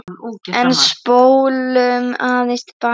En spólum aðeins til baka.